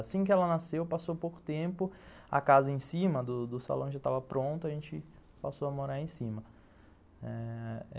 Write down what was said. Assim que ela nasceu, passou pouco tempo, a casa em cima do do do salão já estava pronta, a gente passou a morar aí em cima ãh...